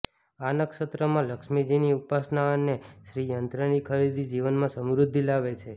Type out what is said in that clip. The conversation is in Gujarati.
આ નક્ષત્રમાં લક્ષ્મીજીની ઉપાસના અને શ્રીયંત્રની ખરીદી જીવનમાં સમૃદ્ધિ લાવે છે